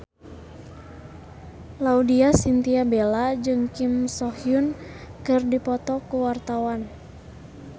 Laudya Chintya Bella jeung Kim So Hyun keur dipoto ku wartawan